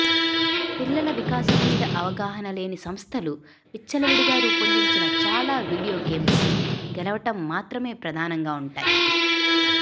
పిల్లల వికాసం మీద అవగాహన లేని సంస్థలు విచ్చలవిడిగా రూపొందించిన చాలా వీడియో గేమ్స్ గెలవటం మాత్రమే ప్రధానంగా ఉంటాయి